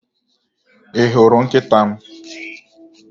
Ị hụrụ nkịta m?